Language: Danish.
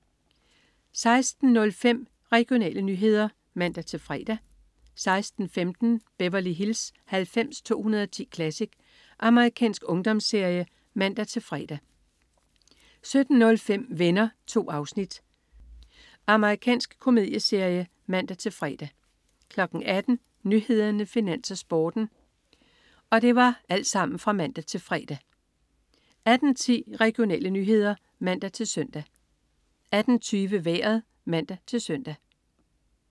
16.05 Regionale nyheder (man-fre) 16.15 Beverly Hills 90210 Classic. Amerikansk ungdomsserie (man-fre) 17.05 Venner. 2 afsnit. Amerikansk komedieserie (man-fre) 18.00 Nyhederne, Finans, Sporten (man-fre) 18.10 Regionale nyheder (man-søn) 18.20 Vejret (man-søn)